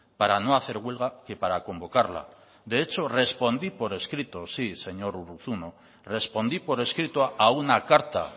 para no hacer huelga que para convocarla de hecho respondí por escrito sí señor urruzuno respondí por escrito a una carta